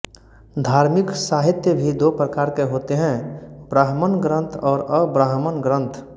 धार्मिक साहित्य भी दो प्रकार के हैं ब्राह्मण ग्रन्थ और अब्राह्मण ग्रन्थ